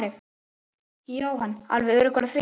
Jóhann: Alveg öruggur á því?